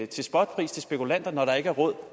til spotpris til spekulanter når der ikke er råd